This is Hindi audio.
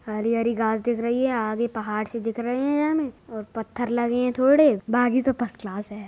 हरी-हरी घाँस दिख रही है आगे पहाड़ सी दिख रहे हैं हमें और पत्थर लगे हैं थोड़े बाकी तो फस्ट क्लास है।